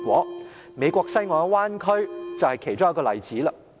例如美國西岸的灣區，就是其一個例子。